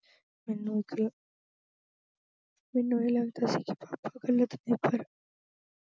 ਮੈਨੂੰ ਇਹ ਲੱਗਦਾ ਸੀ papa ਗਲਤ ਨੇ ਪਰ